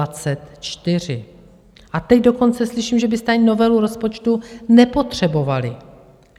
A teď dokonce slyším, že byste ani novelu rozpočtu nepotřebovali.